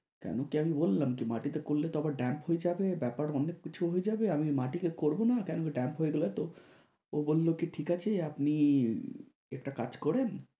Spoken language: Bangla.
কেনো তাহলে বললাম কি? মাটিতে করলে তো আবার দাগ হয়ে যাবে, ব্যাপার অন্য কিছু হয়ে যাবে। আমি মাটিতে করবো না, কেননা দাগ হয়ে গেলে তো। ও বললো কি ঠিক আছে আপনি একটা কাজ করেন